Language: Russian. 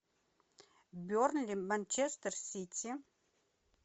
бернли манчестер сити